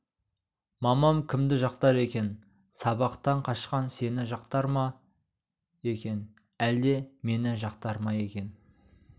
мамам кімді жақтар екен сабақтан қашқан сені жақтар ма екен әлде мені жақтар ма екен